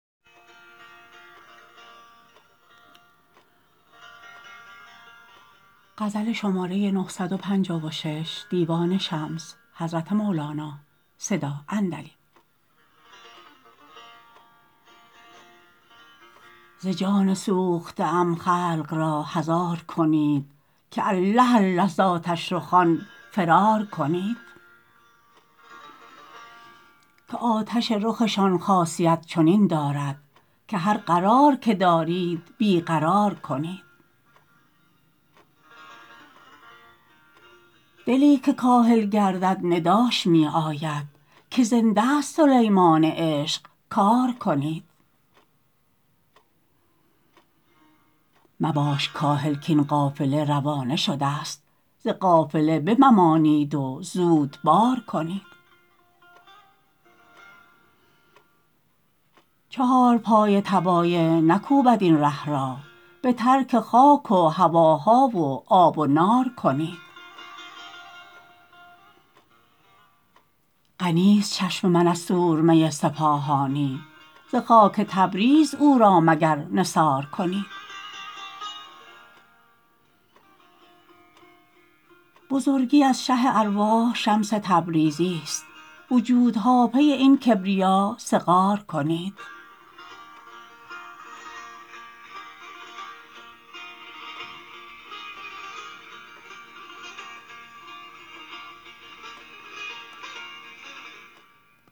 ز جان سوخته ام خلق را حذار کنید که الله الله ز آتش رخان فرار کنید که آتش رخشان خاصیت چنین دارد که هر قرار که دارید بی قرار کنید دلی که کاهل گردد نداش می آید که زنده است سلیمان عشق کار کنید مباش کاهل کاین قافله روانه شدست ز قافله بممانید و زود بار کنید چهارپای طبایع نکوبد این ره را به ترک خاک و هواها و آب و نار کنید غنیست چشم من از سرمه سپاهانی ز خاک تبریز او را مگر نثار کنید بزرگی از شه ارواح شمس تبریزست وجودها پی این کبریا صغار کنید